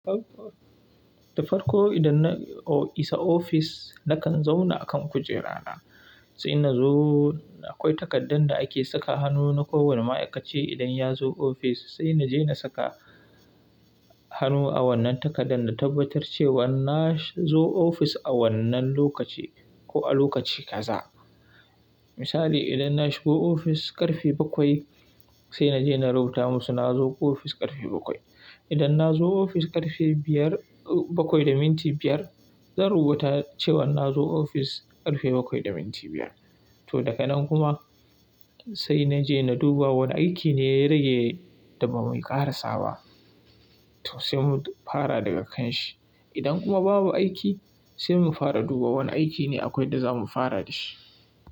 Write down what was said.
Da farko, idan na isa ofis, nakan zauna akan kujera na. Sai na zo, da akwai takardarn da ake saka hannu na kowane ma'aikaci idan ya zo ofis. Sai na je na saka hannu a wannan takardar na tabbatar cewa na zo ofis a wannan lokaci ko a lokaci kaza. Misali, idan na shigo ofis ƙarfe bakwai, sai na je na rubuta musu na zo ofis ƙarfe bakwai. Idan na zo ofis ƙarfe biyar, bakwai da minti biyar zan rubuta cewa na zo ofis ƙarfe bakwai da minti biyar. To, daga nan kuma, sai na je na duba wani aiki ne ya rage da ba mu ƙarasa ba, to sai mu fara daga kan shi. Idan kuma babu aiki sai mu fara duba wane aiki ne akwai da za mu fara da shi.